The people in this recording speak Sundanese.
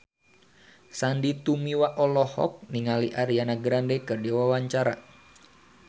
Sandy Tumiwa olohok ningali Ariana Grande keur diwawancara